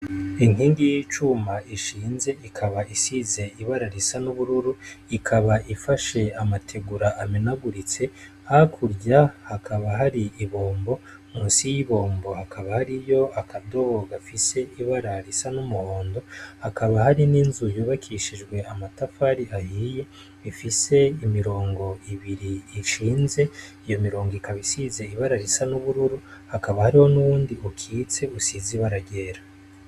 Inkingi y'icuma ishinze ikaba isize ibara risa n'ubururu, ikaba ifashe amategura amenaguritse, hakurya hakaba hari ibombo munsi y'ibombo hakaba hariyo akadobo gafise ibara risa n'umuhondo, hakaba hari n'inzu yubakishijwe amatafari ahiye ifise imirongo ibiri ishinze, iyo mirongo ikaba isize ibara risa ry'ubururu, hakaba hari n'utundi dukitse dusize ibara ryera.